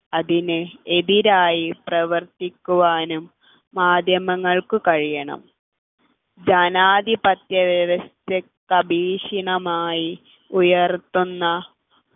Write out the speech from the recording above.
അതിനെ എതിരായി പ്രവർത്തിക്കുവാനും മാധ്യമങ്ങൾക്ക് കഴിയണം ജനാധിപത്യ വ്യവസ്ഥിതിക്കധിക്ഷിതമായി ഉയർത്തുന്ന